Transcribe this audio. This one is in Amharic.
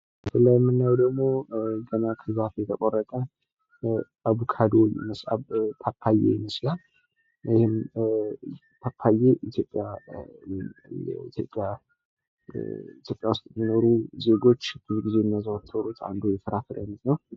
ይኼንኛው ደግሞ ገና ከዛፍ የተቆረጠ ፓፓያ ይመስላል። ፓፓዬ በኢትዮጵያ ውስጥ የሚኖሩ ዜጎች ብዙ ጊዜ የሚያዘወትሩት የፍራፍሬ አይነት ነው።